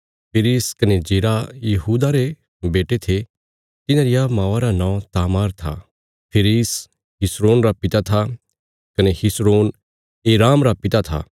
फिरिस कने जेरह यहूदा रे बेटे थे तिन्हां रिया मौआ रा नौं तामार था फिरिस हिस्रोन रा पिता था कने हिस्रोन एराम रा पिता था